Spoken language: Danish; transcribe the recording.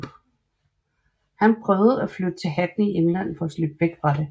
Han prøvede at flytte til Hackney i England for at slippe væk fra det